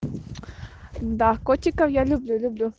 да котиков я люблю люблю